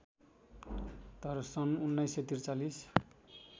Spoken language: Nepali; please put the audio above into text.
तर सन् १९४३